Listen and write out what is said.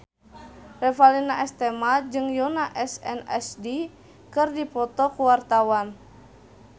Revalina S. Temat jeung Yoona SNSD keur dipoto ku wartawan